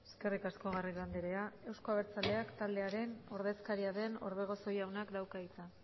eskerrik asko garrido andrea euzko abertzaleak taldearen ordezkaria den orbegozo jaunak dauka hitza